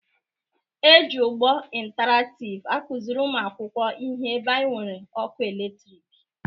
E ji ụgbọ ịntaraktịv akụzịrị ụmụ akwụkwọ ihe ebe e nwere ọkụ eletrịkị